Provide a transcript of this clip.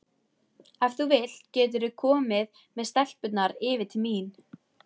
Ef þú vilt geturðu komið með stelpurnar yfir til mín.